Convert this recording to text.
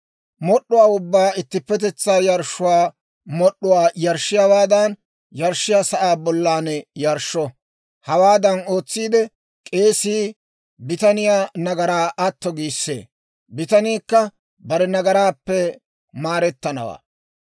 Mod'd'uwaa ubbaa ittippetetsaa yarshshuwaa mod'd'uwaa yarshshiyaawaadan yarshshiyaa sa'aa bollan yarshsho. Hawaadan ootsiide, k'eesii bitaniyaa nagaraa atto giissee; bitaniikka bare nagaraappe maarettanawaa.